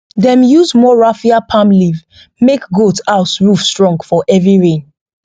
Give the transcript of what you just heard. dem use more raffia palm leaf make goat house roof strong for heavy rain